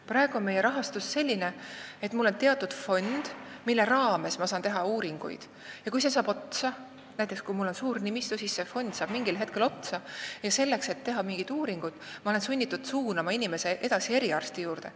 Praegu on rahastus selline, et mul on teatud fond, mille raames ma saan teha uuringuid, aga kui see saab otsa – näiteks minu suure nimistu puhul saab see fond mingil hetkel otsa –, siis olen ma sunnitud mingi uuringu tegemiseks suunama inimese edasi eriarsti juurde.